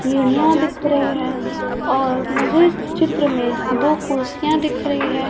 सीढ़ियां दिख रही है और मुझे इस चित्र में दो कुर्सियां दिख रही है।